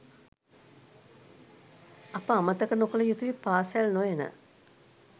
අප අමතක නොකළ යුතුයි පාසැල් නොයන